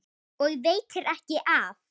Og veitir ekki af!